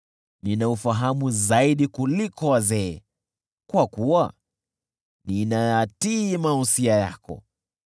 Nina ufahamu zaidi kuliko wazee, kwa kuwa ninayatii mausia yako.